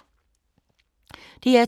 DR2